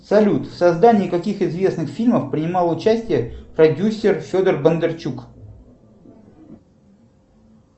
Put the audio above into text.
салют в создании каких известных фильмов принимал участие продюсер федор бондарчук